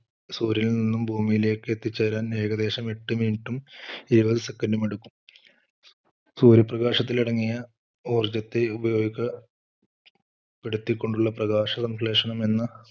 സൂര്യനിൽ നിന്നും ഭൂമിയിലേക്ക് എത്തിച്ച് തരാൻ ഏകദേശം എട്ട് minute ഉം ഇരുപത് second ഉം എടുക്കും. സൂര്യപ്രകാശത്തിലടങ്ങിയ ഊർജത്തെ ഉപയോഗ പ്പെടുത്തി കൊണ്ടുള്ള പ്രകാശസംശ്ലേഷണം എന്ന